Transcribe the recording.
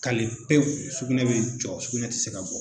pewu, sugunɛ be jɔ sugunɛ ti se ka bɔ